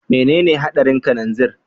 Menene hadarin kananzir?